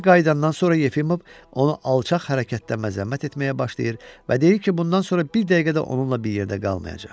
B qayıdandan sonra Yefimov onu alçaq hərəkətdə məzəmmət etməyə başlayır və deyir ki, bundan sonra bir dəqiqə də onunla bir yerdə qalmayacaq.